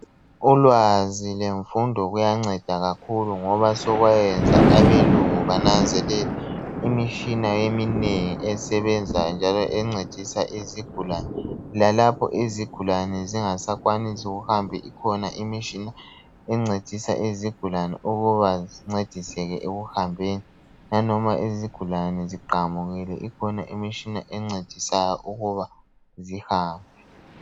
Ulwazil lemfundo kuyanceda kakhulu ngoba sekwayenza abelungu bananzelela imitshina eminengi esebenzayo njalo encedisa izigulane. Lalapho izigulane zingasakwanisi ukuhamba ikhona imitshina encedisa izigulane ukuba zincediseke ekuhambeni, inoma izigulane ziqamukile ikhona imitshina encedisa ukuba zihambe.